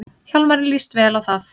Hjálmari líst vel á það.